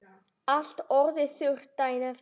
Allt orðið þurrt daginn eftir.